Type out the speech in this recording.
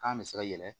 Kan bɛ se ka yɛlɛ